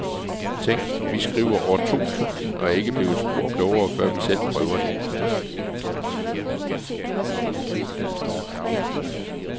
Tænk, vi skriver år to tusind og er ikke blevet spor klogere, før vi selv prøver det.